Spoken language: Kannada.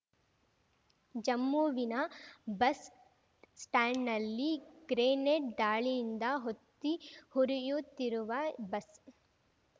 ಜಮ್ಮುವಿನ ಬಸ್ ಸ್ಟಾಂಡ್‌ನಲ್ಲಿ ಗ್ರೆನೇಡ್ ದಾಳಿಯಿಂದ ಹೊತ್ತಿ ಉರಿಯುತ್ತಿರುವ ಬಸ್